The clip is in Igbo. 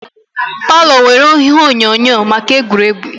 Palo nwèrè ihe onyonyo maka egwuregwu